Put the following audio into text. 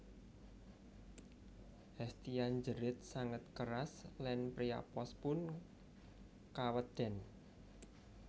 Hestia njerit sanget keras lan Priapos pun kaweden